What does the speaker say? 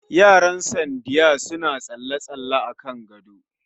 Yaran Saddiya suna tsalle-tsalle akan gado